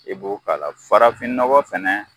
E b'o k'a la farafin nɔgɔ fɛnɛ